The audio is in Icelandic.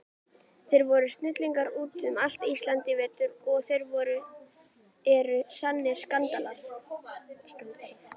Þeir voru snillingar út um allt Ísland í vetur og þeir eru sannir Skandinavar.